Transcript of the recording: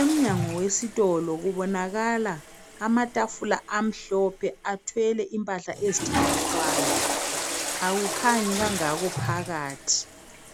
Emnyango wesitolo kubonakala amatafula amhlophe athwele impahla ezithengiswayo akukhanyi kangako phakathi